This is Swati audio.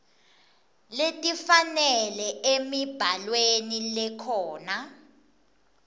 letifanele emibhalweni lekhona